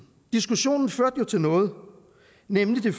og diskussionen førte jo til noget nemlig